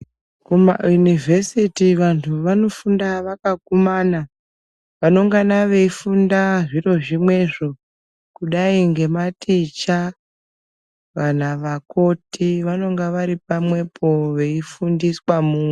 Kuma yunivheziti vantu vanofunda vaka kumana vanongana vei funda zviro zvimwezvo kudai ngema ticha kana vakoti vanonga vari pamwepo vei fundiswa mwo.